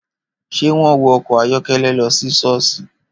Ṣé wọ́n wọ ọkọ̀ ayọ́kẹ́lẹ́ lọ sí ṣọ́ọ̀ṣì?